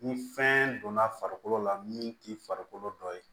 Ni fɛn donna farikolo la min t'i farikolo dɔ ye